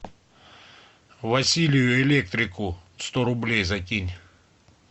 василию электрику сто рублей закинь